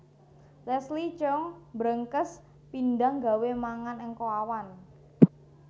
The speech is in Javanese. Leslie Cheung mbrengkes pindang gawe mangan engko awan